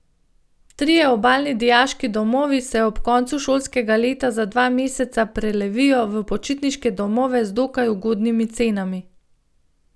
Trije obalni dijaški domovi se ob koncu šolskega leta za dva meseca prelevijo v počitniške domove z dokaj ugodnimi cenami.